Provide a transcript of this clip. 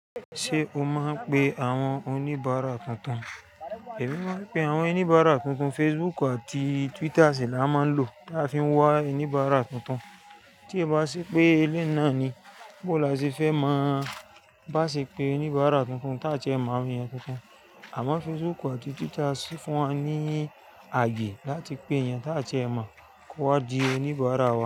Ṣé o màa npè àwọn oníbàárà tuntun? Èmi máa ń pe àwọn oníbàárà tuntun. Facebook àti Twitter ṣì là máa ń lò tà fi nwá oníbàárà tuntun. Tí è bá ṣé pé èléun náà ni bó lásè fẹ́ mọ̀ bá ṣé pé oníbàárà tuntun táa ti ẹ mọ̀ àwon èèyàn tuntun. Àmọ́ Facebook àti Twitter sì fún wa ní ààyè láti pé èèyàn táa ti ẹ mọ̀ kowà dí oníbàárà wa.